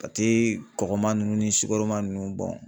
Pate kɔkɔma nunnu ni sukaroma nunnu